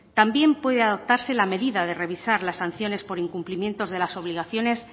también puede adoptarse la medida de revisar las sanciones por incumplimientos de las obligaciones